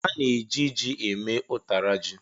A na-eji ji eme ụtara ji.